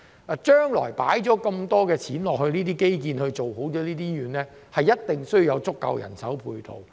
投放了這麼多金錢在基建做好醫院，將來一定要有足夠的人手配套。